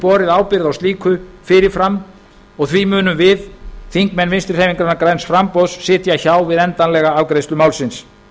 borið ábyrgð á slíku fyrir fram og því munum við þingmenn vinstri hreyfingarinnar græns framboðs sitja hjá við endanlega afgreiðslu málsins